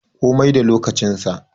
Komi da lokacin sa